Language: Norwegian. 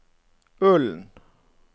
Ølen